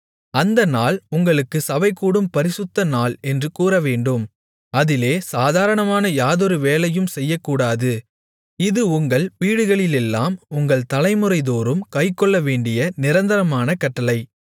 அந்த நாள் உங்களுக்குச் சபைகூடும் பரிசுத்த நாள் என்று கூறவேண்டும் அதிலே சாதாரணமான யாதொரு வேலையும் செய்யக்கூடாது இது உங்கள் வீடுகளிலெல்லாம் உங்கள் தலைமுறைதோறும் கைக்கொள்ளவேண்டிய நிரந்தரமான கட்டளை